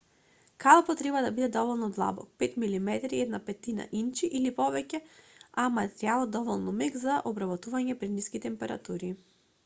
калапот треба да биде доволно длабок 5 мм 1/5 инчи или повеќе а материјалот доволно мек за обработување при ниски температури